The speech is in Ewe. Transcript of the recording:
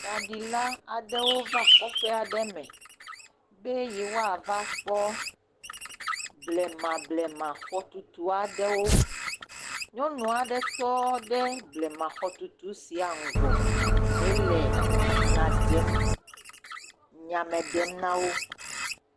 Tsaɖila aɖewo va kɔƒɔ aɖe me be yewoava kpɔ blemablema xɔtutu aɖewo. Nyɔnu aɖe tɔ ɖe blema xɔtutu sia ŋgɔ hele nya ɖem nyame ɖem na wo.